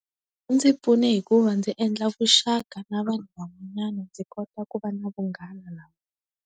Wu ndzi pfune hi ku va ndzi endla vuxaka na vanhu van'wanyana ndzi kota ku va na vunghana na .